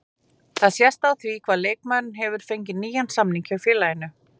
Það sést á því að leikmaðurinn hefur fengið nýjan samning hjá félaginu.